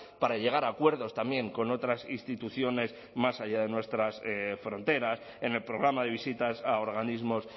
para llegar a acuerdos también con otras instituciones más allá de nuestras fronteras en el programa de visitas a organismos